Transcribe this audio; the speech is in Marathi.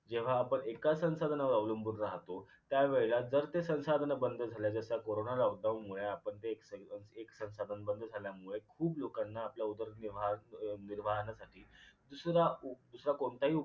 जेव्हा आपण एका संसाधनांवर अवलंबून राहतो त्यावेळेला जर ते संसाधन बंद झालं जस corona lockdown मुळे आपण ते एक संसाधन बंद झाल्यामुळे खूप लोकांना आपला उदरनिर्वाह उदर्निर्वाहानासाठी दुसरा कु कोणताही